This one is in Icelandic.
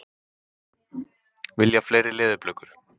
Vilja fleiri leðurblökur